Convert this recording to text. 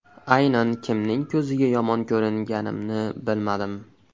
Aynan kimning ko‘ziga yomon ko‘ringanimni bilmadim.